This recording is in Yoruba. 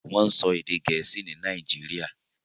Wọ́n ń sọ èdè Gẹ̀ẹ́sì ni Nàìjíríà.